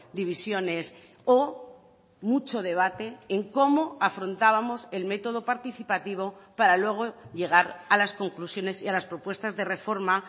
divisiones o mucho debate en cómo afrontábamos el método participativo para luego llegar a las conclusiones y a las propuestas de reforma